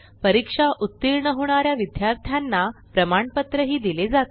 परीक्षा उत्तीर्ण होणा या विद्यार्थ्यांना प्रमाणपत्रही दिले जाते